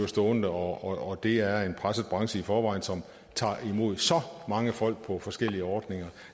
stående og og det er en presset branche i forvejen som tager imod så mange folk på forskellige ordninger